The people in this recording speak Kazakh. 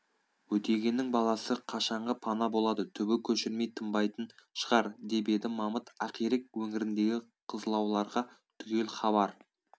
өтегеннің баласы қашанғы пана болады түбі көшірмей тынбайтын шығар-деп еді мамыт ақирек өңіріндегі қызлауларға түгел хабар